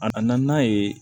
A na na n'a ye